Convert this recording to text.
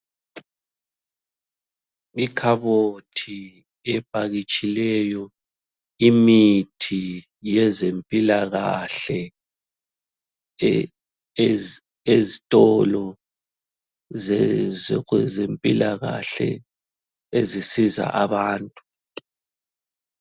Ikhabothi epakitshileyo imithi yezempilakahle ezitolo zempilakahle ezisiza abantu.